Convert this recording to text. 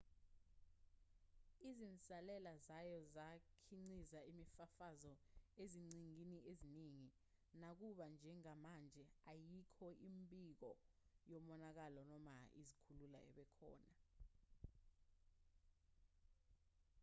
izinsalela zayo zakhiqiza imifafazo eziqhingini eziningi nakuba njengamanje ayikho imibiko yomonakalo noma izikhukhula ebekhona